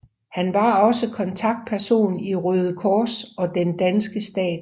Han var også kontaktperson til Røde Kors og den danske stat